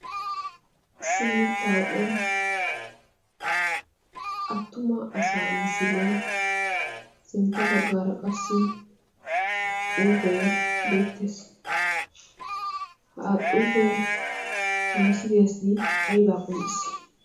issimmi tauphiyan attuma asaa misilee sintta baggaara qassi xuufee beettees xuufee ha misiliyaasi aybaa qonccis